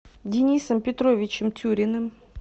денисом петровичем тюриным